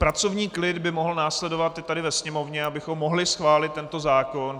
Pracovní klid by mohl následovat i tady ve sněmovně, abychom mohli schválit tento zákon.